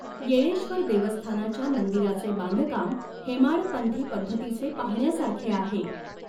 येळेश्व़र देवस्थानाच्या मंदिराचे बांधकाम हेमाडपंथी पद्धतीचे पाहण्यासारखे आहे.